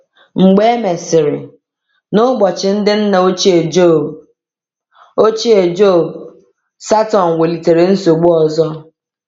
Mgbe e mesịrị, n’ụbọchị ndị nna ochie Jọb, ochie Jọb, Satọn welitere nsogbu ọzọ.